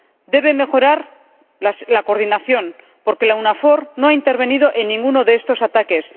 Debe mejorar la coordinación, porque la EU NAVFOR no ha intervenido en ninguno de estos ataques.